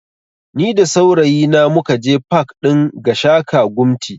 Ni da saurayi na mukaje pak ɗin Gashaka Gumti